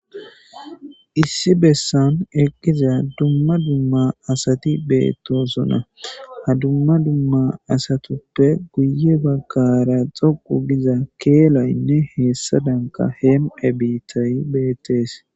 Issi bessan eqqiza dumma dumma asati beettosona ha dumma dumma asatuppe guye baggara xoqu giza keelaynne heessa danka heem7e biittay bettees